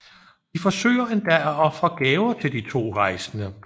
De forsøger endda at ofre gaver til de to rejsende